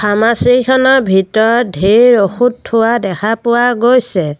Pharmacy খনৰ ভিতৰত ধেৰ ঔষধ থোৱা দেখা পোৱা গৈছে।